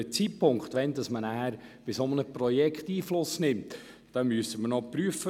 Der Zeitpunkt, wann auf ein solches Projekt Einfluss genommen werden kann, muss noch geprüft werden.